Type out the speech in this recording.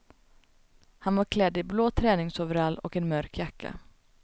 Han var klädd i blå träningsoverall och en mörk jacka.